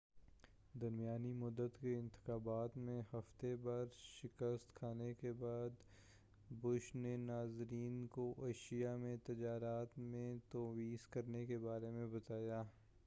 درمیانی مدت کے انتخابات میں ہفتے بھر شکست کھانے کے بعد بش نے ناظرین کو ایشیا میں تجارت میں توسیع کرنے کے بارے میں بتایا